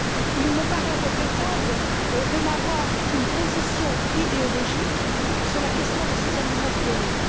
Il me paraît regrettable de n'avoir qu'une position idéologique sur la question de ces animaux clonés.